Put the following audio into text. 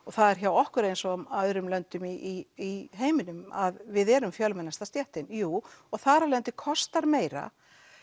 það er hjá okkur eins og öðrum löndum í heiminum að við erum fjölmennasta stéttin jú og þar af leiðandi kostar meira